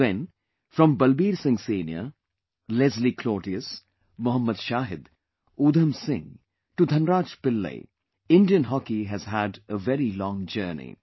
Then, from Balbeer Singh Senior, Leslie Claudius, Mohammad Shahid, Udham Singh to Dhan Raj Pillai, Indian Hockey has had a very long journey